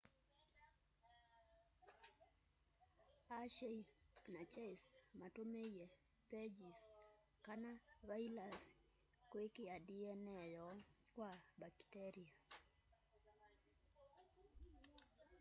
hershey na chase matumiie phages kana vailasi kwikia dna yoo kwa mbakitelia